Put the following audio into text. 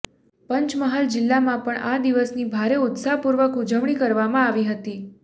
પંચમહાલ જિલ્લામાં પણ આ દિવસની ભારે ઉત્સાહપૂર્વક ઉજવણી કરવામાં આવી હતી